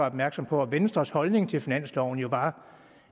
opmærksom på at venstres holdning til finansloven jo var